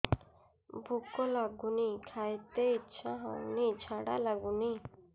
ଭୁକ ଲାଗୁନି ଖାଇତେ ଇଛା ହଉନି ଝାଡ଼ା ଲାଗୁନି